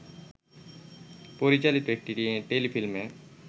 পরিচালিত একটি টেলিফিল্মে